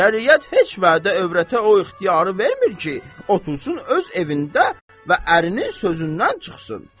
Şəriət heç vədə övrətə o ixtiyarı vermir ki, otursun öz evində və ərinin sözündən çıxsın.